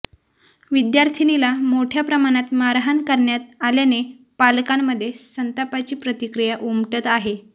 विद्यार्थीनीला मोठया प्रमाणात मारहाण करण्यात आल्याने पालकांमधे संतापाची प्रतिक्रीया उमटत आहे